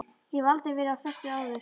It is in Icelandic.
Ég hef aldrei verið á föstu áður.